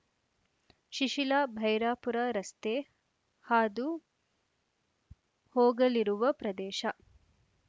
ಶಿಶಿಲಾ ಭೈರಾಪುರ ರಸ್ತೆ ಹಾದು ಹೋಗಲಿರುವ ಪ್ರದೇಶ